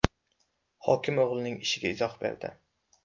Hokim o‘g‘lining ishiga izoh berdi.